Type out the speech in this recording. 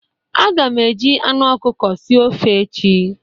Aga m e ji anụ ọkụkọ sie ofe echi.